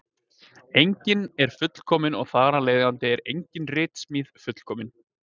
Enginn er fullkominn og þar af leiðandi er engin ritsmíð fullkomin.